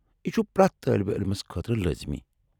یہ چُھ پرٮ۪تھ طٲلب علمس خٲطرٕ لٲزمی ۔